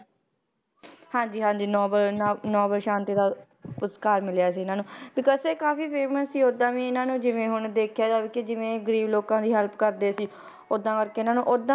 ਹਾਂਜੀ ਹਾਂਜੀ ਨੋਬਲ ਨਾ~ ਨੋਬਲ ਸ਼ਾਂਤੀ ਦਾ ਪੁਰਸਕਾਰ ਮਿਲਿਆ ਸੀ ਇਹਨਾਂ ਨੂੰ because ਇਹ ਕਾਫ਼ੀ famous ਸੀ ਓਦਾਂ ਵੀ ਇਹਨਾਂ ਨੂੰ ਜਿਵੇਂ ਹੁਣ ਦੇਖਿਆ ਜਾਵੇ ਕਿ ਜਿਵੇਂ ਗ਼ਰੀਬ ਲੋਕਾਂ ਦੀ help ਕਰਦੇ ਸੀ ਓਦਾਂ ਕਰਕੇ ਇਹਨਾਂ ਨੂੰ ਓਦਾਂ